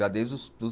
Já desde os dos